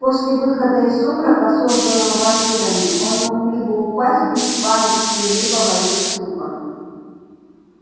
после выхода из сумрака созданного вампирами он мог либо упасть в беспамятстве либо войти в ступор